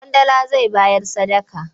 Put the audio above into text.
Ƙwandala zai bayar sadaka.